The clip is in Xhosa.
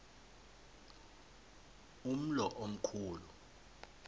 umlo omkhu lu